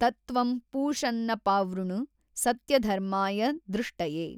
ತತ್ತ್ವಂ ಪೂಷನ್ನಪಾವೃಣು ಸತ್ಯಧರ್ಮಾಯ ದ್ರೃಷ್ಟಯೇ।